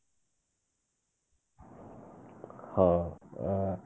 ହଁ ଅ